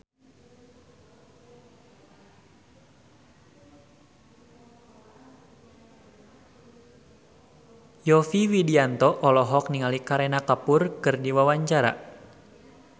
Yovie Widianto olohok ningali Kareena Kapoor keur diwawancara